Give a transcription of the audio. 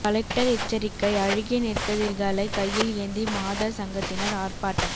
collector எச்சரிக்கை அழுகிய நெற்கதிர்களை கையில் ஏந்தி மாதர் சங்கத்தினர் ஆர்ப்பாட்டம்